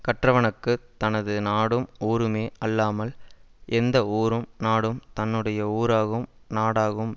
கற்றவனுக்குத் தனது நாடும் ஊருமே அல்லாமல் எந்த ஊரும் நாடும் தன்னுடைய ஊராகும் நாடாகும்